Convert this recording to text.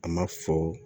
A ma fɔ